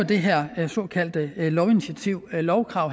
det her såkaldte lovkrav